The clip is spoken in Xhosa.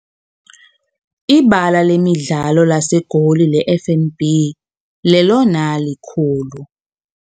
Ibala lemidlalo laseGoli leFNB lelona likhulu.